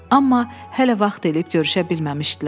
Amma hələ vaxt eləyib görüşə bilməmişdilər.